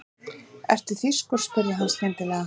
Ertu þýskur? spurði hann skyndilega.